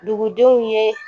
Dugudenw ye